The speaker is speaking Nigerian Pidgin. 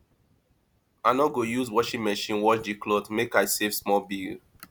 i no go use washing machine wash di cloth make i save small bill